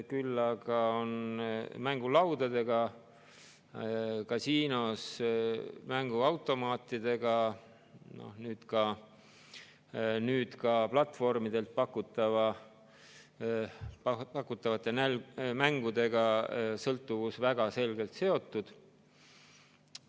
Küll aga on mängulaudadega kasiinos, mänguautomaatidega ja nüüd ka platvormidel pakutavate mängudega sõltuvus väga selgelt seotud.